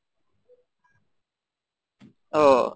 ও